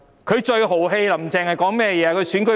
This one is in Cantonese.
她最豪氣的說話是甚麼？